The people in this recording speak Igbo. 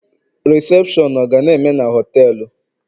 Rịsepshọn ọ ga na-eme na họtelu?